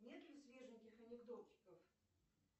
нет ли свеженьких анекдотиков